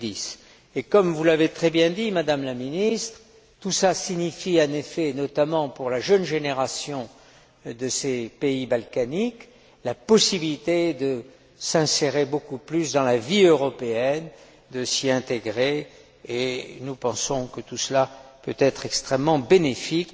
2010. Comme vous l'avez très bien dit, Madame la Ministre, tout cela signifie, en effet, notamment pour la jeune génération de ces pays balkaniques, la possibilité de s'insérer beaucoup plus dans la vie européenne, de s'y intégrer, et nous pensons que tout cela peut être extrêmement bénéfique,